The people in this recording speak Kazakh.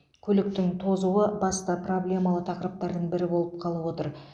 көліктің тозуы басты проблемалы тақырыптардың бірі болып қалып отыр